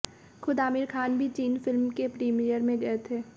खुद आमिर खान भी चीन फिल्म के प्रीमियर में गए थे